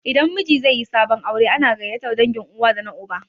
Idan miji zaiyi sabon aure ana gaiyatar dangin uwa da na uba